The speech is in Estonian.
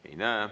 Ei näe.